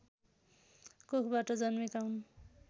कोखबाट जन्मेका हुन्